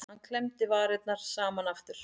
Hann klemmdi varirnar saman aftur.